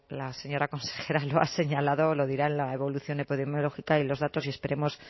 la señora consejera lo ha señalado lo dirán la evolución epidemiológica y los datos y esperemos